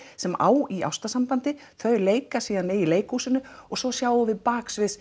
sem á í ástarsambandi þau leika síðan í leikhúsinu og svo sjáum við baksviðs